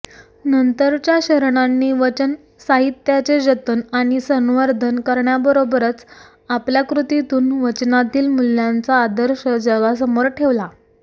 नंतरच्या शरणांनी वचन साहित्याचे जतन आणि संवर्धन करण्याबरोबरच आपल्या कृतीतून वचनातील मूल्यांचा आदर्श जगासमोर ठेवला